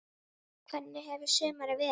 Hvernig hefur sumarið verið?